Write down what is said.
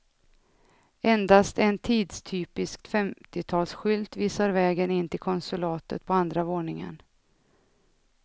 Endast en tidstypisk femtiotalsskylt visar vägen in till konsulatet på andra våningen.